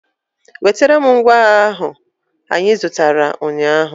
Wetara m ngwa agha ahụ anyị zụtara ụnyaahụ!